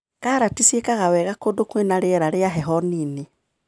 Karati cikaga wega kũndũ kwĩna rĩera ria heho nini.